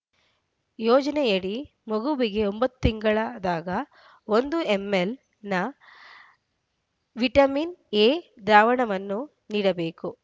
ಯೋಜನೆಯಡಿ ಮಗುವಿಗೆ ಒಂಬತ್ತು ತಿಂಗಳಾದಾಗ ಒಂದು ಎಂಎಲ್‌ನ ವಿಟಮಿನ್‌ ಎ ದ್ರಾವಣವನ್ನು ನೀಡಬೇಕು